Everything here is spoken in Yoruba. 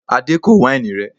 Adé kò wáìnì rẹ